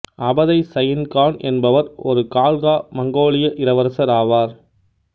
Abatai Sain Khan என்பவர் ஒரு கால்கா மங்கோலிய இளவரசர் ஆவார்